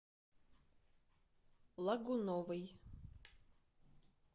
лагуновой